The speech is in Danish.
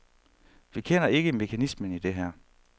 Vi kender ikke mekanismen i det her.